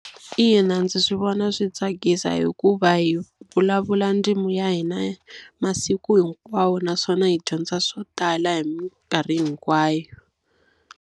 Ina ndzi swi vona swi tsakisa hikuva hi vulavula ndzimi ya hina masiku hinkwawo naswona hi dyondza swo tala hi minkarhi hinkwayo.